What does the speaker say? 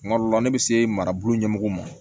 Kuma dɔ la ne bɛ se marabolo ɲɛmɔgɔw ma